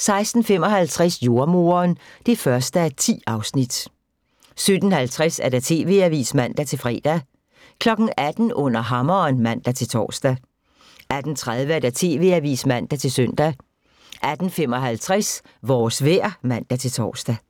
16:55: Jordemoderen (1:10) 17:50: TV-avisen (man-fre) 18:00: Under hammeren (man-tor) 18:30: TV-avisen (man-søn) 18:55: Vores vejr (man-tor)